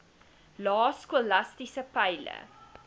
lae skolastiese peile